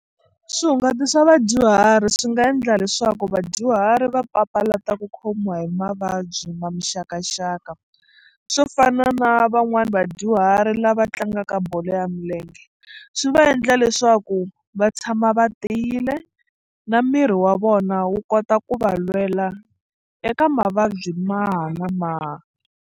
Swihungati swa vadyuhari swi nga endla leswaku vadyuhari va papalata ku khomiwa hi mavabyi ma muxakaxaka swo fana na van'wani vadyuhari lava tlangaka ka bolo ya milenge swi va endla leswaku va tshama va tiyile na miri wa vona wu kota ku va lwela eka mavabyi maha na maha.